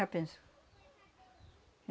penso.